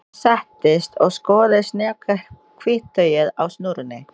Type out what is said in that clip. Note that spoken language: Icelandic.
Ég settist og skoðaði snjakahvítt tauið á snúrunni.